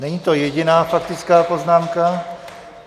Není to jediná faktická poznámka.